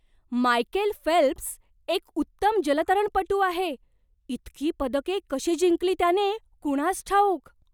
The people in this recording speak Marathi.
मायकेल फेल्प्स एक उत्तम जलतरणपटू आहे. इतकी पदके कशी जिंकली त्याने कुणास ठाऊक!